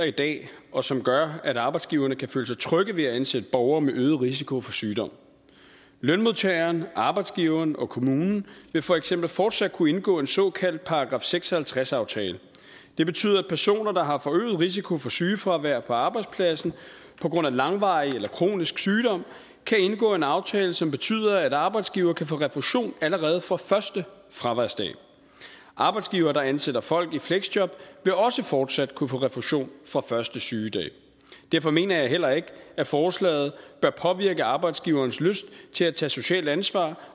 i dag og som gør at arbejdsgiverne kan føle sig trygge ved at ansætte borgere med øget risiko for sygdom lønmodtageren arbejdsgiveren og kommunen vil for eksempel fortsat kunne indgå en såkaldt § seks og halvtreds aftale det betyder at personer der har forøget risiko for sygefravær på arbejdspladsen på grund af langvarig eller kronisk sygdom kan indgå en aftale som betyder at arbejdsgiver kan få refusion allerede fra første fraværsdag arbejdsgivere der ansætter folk i fleksjob vil også fortsat kunne få refusion fra første sygedag derfor mener jeg heller ikke at forslaget bør påvirke arbejdsgivernes lyst til at tage socialt ansvar